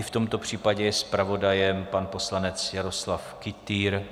I v tomto případě je zpravodajem pan poslanec Jaroslav Kytýr.